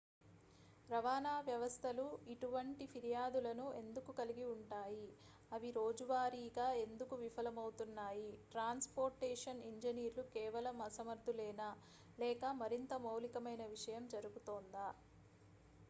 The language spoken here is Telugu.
రవాణా వ్యవస్థలు ఇటువంటి ఫిర్యాదులను ఎందుకు కలిగి ఉంటాయి అవి రోజువారీగా ఎందుకు విఫలమవుతున్నాయి ట్రాన్స్ పోర్టేషన్ ఇంజినీర్లు కేవలం అసమర్థులేనా లేక మరింత మౌలికమైన విషయం జరుగుతోందా